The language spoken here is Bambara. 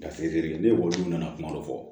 Dafide ni ekɔlidenw nana kuma dɔ fɔ